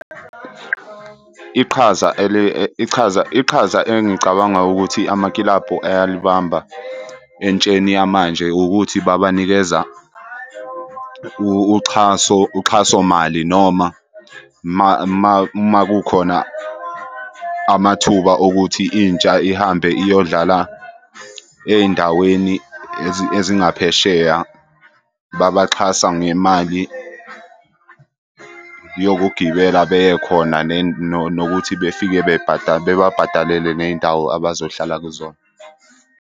Iqhaza ichaza iqhaza engicabanga ukuthi amakilabhu ayalibamba entsheni yamanje ukuthi babanikeza uxhaso, uxhasomali noma uma kukhona amathuba okuthi intsha ihambe iyodlala ey'ndaweni ezingaphesheya. Babaxhasa ngemali yokugibela beye khona nokuthi befike bebabhadalele ney'ndawo abazohlala kuzona.